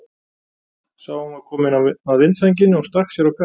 Sá að hún var komin að vindsænginni og stakk sér á kaf.